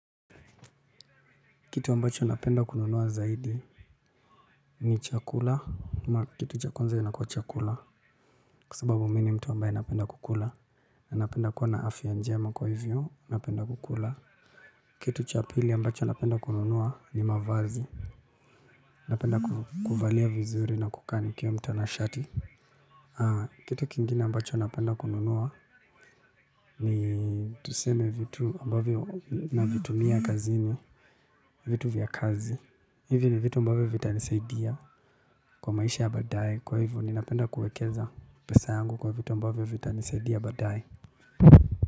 Kitu ambacho napenda kununua zaidi ni chakula, kitu cha kwanza inakuwa chakula, kwa sababu mimi ni mtu ambaye napenda kukula, na napenda kuwa na afya njema kwa hivyo napenda kukula, kitu cha pili ambacho napenda kununua ni mavazi, napenda kuvalia vizuri na kukaa nikiwa mtanashati. Kitu kingine ambacho napenda kununua ni tuseme vitu ambavyo navitumia kazini. Vitu vya kazi hivi ni vitu ambavyo vitanisaidia kwa maisha ya badaye. Kwa hivyo ninapenda kuekeza pesa yangu kwa vitu ambavyo vitanisaidia baadaye.